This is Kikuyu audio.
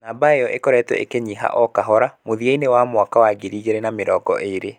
Namba ĩyo ĩkoretwo ĩkĩnyiha o kahora mũthia-inĩ wa mwaka wa ngiri igĩrĩ na mĩrongo ĩĩrĩ.